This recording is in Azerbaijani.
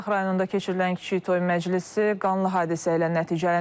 Qazax rayonunda keçirilən kiçik toy məclisi qanlı hadisə ilə nəticələnib.